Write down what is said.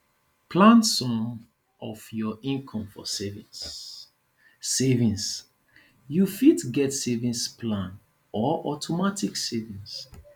plan some of your income for savings savings you fit get savings plan or automatic savings